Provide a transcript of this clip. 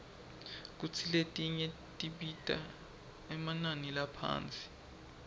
kantsi letinye tibita emanani laphasi